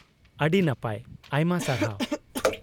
-ᱟᱹᱰᱤ ᱱᱟᱯᱟᱭ ! ᱟᱭᱢᱟ ᱥᱟᱨᱦᱟᱣ ᱾